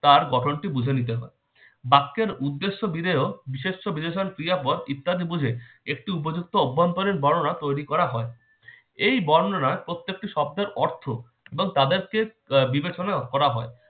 তার গঠনটি বুঝে নিতে হয়। বাক্যের উদ্দেশ্য বিধেয় বিশেষ্য বিশেষণ ক্রিয়াপদ ইত্যাদি বুঝে একটু উপযুক্ত অভ্য়ন্তরিন বর্ণনা তৈরি করা হয়। এই বর্ণনার প্রত্যেকটি শব্দের অর্থ এবং আহ তাদেরকে বিবেচনা করা হয়